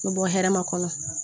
U bɛ bɔ hɛrɛma kɔnɔ